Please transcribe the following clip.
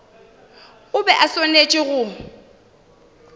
o be a swanetše go